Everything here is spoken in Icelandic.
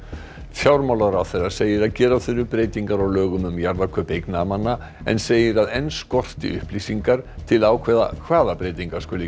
fjármálaráðherra segir að gera þurfi breytingar á lögum um jarðakaup eignamanna en segir að enn skorti upplýsingar til að ákveða hvaða breytingar skuli